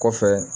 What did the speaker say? Kɔfɛ